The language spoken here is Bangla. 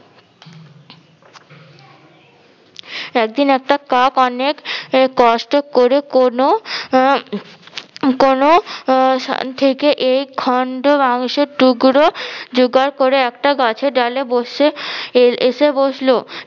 একদিন একটা কাক অনেক কষ্ট করে কোনো আহ কোনো আহ থেকে এই খন্ড মাংসের টুগরো জোগাড় করে একটা গাছের ডালে বসে এ~ এসে বসলো।